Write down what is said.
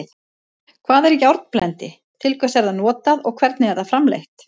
Hvað er járnblendi, til hvers er það notað og hvernig er það framleitt?